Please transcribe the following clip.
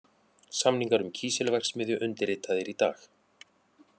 Samningar um kísilverksmiðju undirritaðir í dag